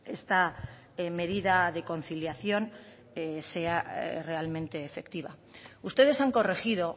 esta medida de conciliación sea realmente efectiva ustedes han corregido